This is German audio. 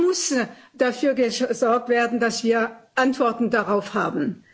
Da muss dafür gesorgt werden, dass wir Antworten darauf haben.